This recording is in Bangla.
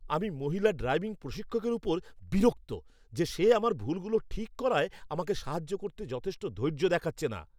আমি মহিলা ড্রাইভিং প্রশিক্ষকের উপর বিরক্ত যে সে আমার ভুলগুলো ঠিক করায় আমাকে সাহায্য করতে যথেষ্ট ধৈর্য দেখাচ্ছে না।